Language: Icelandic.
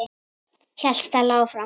hélt Stella áfram.